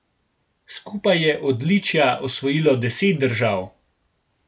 Skupaj je odličja osvojilo deset držav.